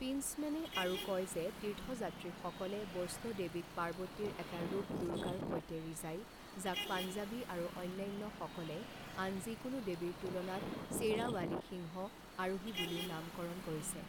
পিণ্টচ্মেনে আৰু কয় যে তীৰ্থযাত্ৰীসকলে বৈষ্ণো দেৱীক পাৰ্বতীৰ এটা ৰূপ দুৰ্গাৰ সৈতে ৰিজায় যাক পাঞ্জাৱী আৰু অন্যান্যসকলে আন যিকোনো দেৱীৰ তুলনাত শ্বেৰাৱালী সিংহ আৰোহী বুলিও নামকৰণ কৰিছে।